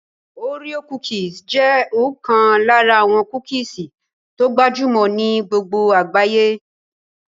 Oreo cookies jẹ́ ọ̀kan lára àwọn kúkìsì tó gbajúmọ̀ ní gbogbo àgbáyé